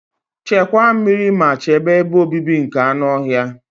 Chekwa meri ma chebe ebe obibi like anụ ọhịa.